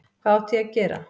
Hvað átti ég að gera?